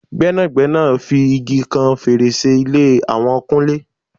Gbẹ́nàgbẹ́nà fi igi kan fèrèsé ilé àwọn kúnlé